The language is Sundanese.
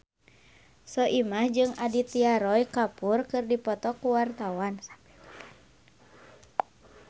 Soimah jeung Aditya Roy Kapoor keur dipoto ku wartawan